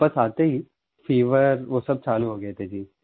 वापस आते ही फीवर वो सब चालू हो गया था जी